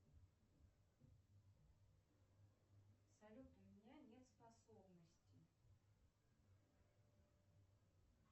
салют у меня нет способностей